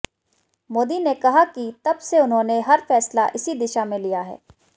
मोदी ने कहा कि तब से उन्होंने हर फैसला इसी दिशा में लिया है